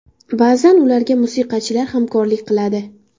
Ba’zan ularga musiqachilar hamrohlik qiladi.